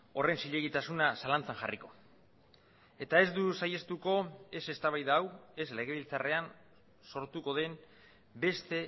horren zilegitasuna zalantzan jarriko eta ez du saihestuko ez eztabaida hau ez legebiltzarrean sortuko den beste